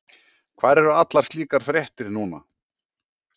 Hvar eru allar slíkar fréttir núna?